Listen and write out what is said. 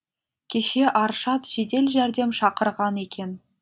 кеше аршат жедел жәрдем шақырған екен